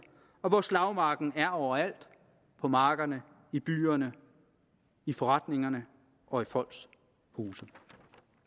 og hvor slagmarken er overalt på markerne i byerne i forretningerne og i folks huse det